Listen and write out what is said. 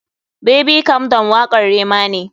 Baby calm down wakar Rema ne.